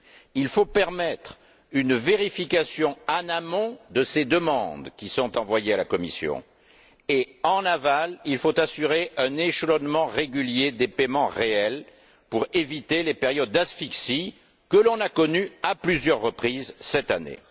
Il faut permettre une vérification, en amont, de ces demandes qui sont envoyées à la Commission et, en aval, il faut assurer un échelonnement régulier des paiements réels pour éviter les périodes d'asphyxie que l'on a connues à plusieurs reprises cette année.